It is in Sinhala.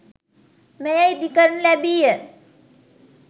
මෙය ඉදිකරනු ලැබී ය.